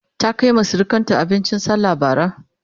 ta Kaima surukanta abincin sallah Bara?